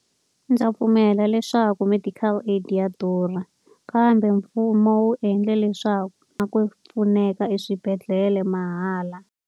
Ndza pfumela leswaku medical aid ya durha, kambe mfumo wu endle leswaku na ku pfuneka eswibedhlele mahala.